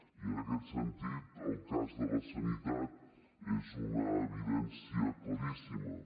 i en aquest sentit el cas de la sanitat és una evidència claríssima